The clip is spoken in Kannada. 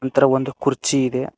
ಈ ತರ ಒಂದು ಕುರ್ಚಿ ಇದೆ.